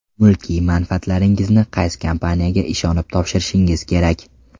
Mulkiy manfaatlaringizni qaysi kompaniyaga ishonib topshirishingiz kerak?.